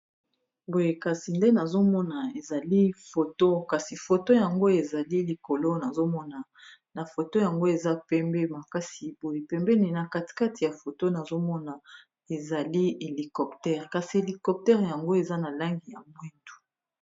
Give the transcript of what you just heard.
boye kasi nde nazomona ezali foto kasi foto yango ezali likolo nazomona na foto yango eza pembe makasi boye pembeni na katikati ya foto nazomona ezali helicoptere kasi helicoptere yango eza na langi ya mwidu